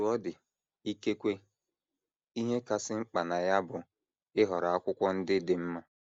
Otú ọ dị, ikekwe ihe kasị mkpa na ya bụ ịhọrọ akwụkwọ ndị dị mma.